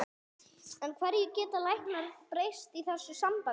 En hverju geta læknar breytt í þessu sambandi?